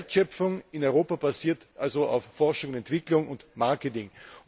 Die Wertschöpfung in Europa basiert auf Forschung, Entwicklung und Marketing.